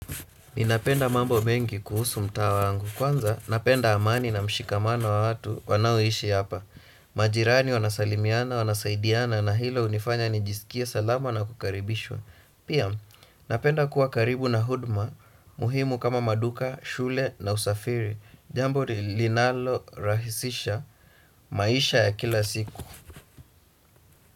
Ni napenda mambo mengi kuhusu mtaa wangu. Kwanza, napenda amani na mshikamano wa watu wanaoishi hapa. Majirani wanasalimiana, wanasaidiana na hilo hunifanya nijisikie salama na kukaribishwa. Pia, napenda kuwa karibu na huduma, muhimu kama maduka, shule na usafiri. Jambo linalo rahisisha maisha ya kila siku.